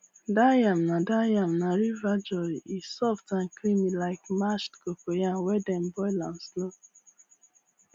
that yam na that yam na river joy e soft and creamy like mashed cocoyam when dem boil am slow